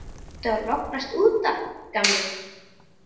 Ertu að lognast út af, gamli?